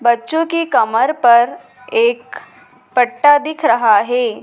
बच्चों के कमर पर एक पट्टा दिख रहा है।